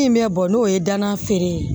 Min bɛ bɔ n'o ye danna feere ye